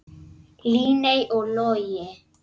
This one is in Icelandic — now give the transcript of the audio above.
Líney og Logi.